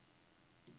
Regitze Bugge